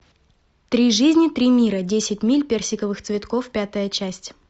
три жизни три мира десять миль персиковых цветков пятая часть